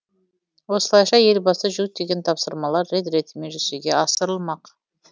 осылайша елбасы жүктеген тапсырмалар рет ретімен жүзеге асырылмақ